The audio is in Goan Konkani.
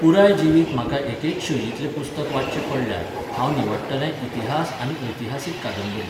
पुराय जिवीत म्हाका एकेच शैलींतलें पुस्तक वाच्चें पडल्यार, हांव निवडटलें इतिहास आनी ऐतिहासीक कादंबरी.